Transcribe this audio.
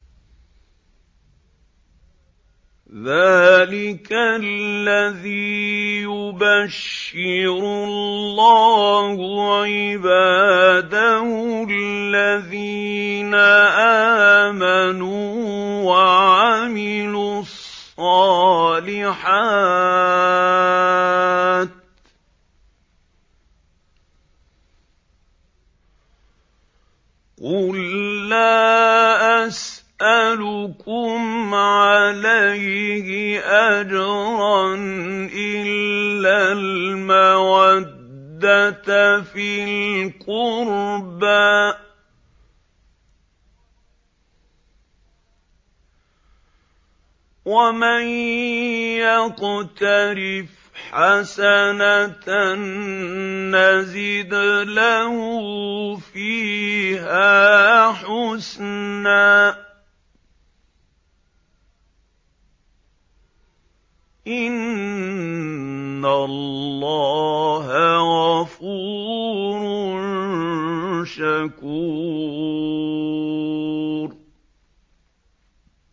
ذَٰلِكَ الَّذِي يُبَشِّرُ اللَّهُ عِبَادَهُ الَّذِينَ آمَنُوا وَعَمِلُوا الصَّالِحَاتِ ۗ قُل لَّا أَسْأَلُكُمْ عَلَيْهِ أَجْرًا إِلَّا الْمَوَدَّةَ فِي الْقُرْبَىٰ ۗ وَمَن يَقْتَرِفْ حَسَنَةً نَّزِدْ لَهُ فِيهَا حُسْنًا ۚ إِنَّ اللَّهَ غَفُورٌ شَكُورٌ